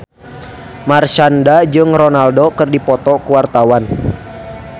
Marshanda jeung Ronaldo keur dipoto ku wartawan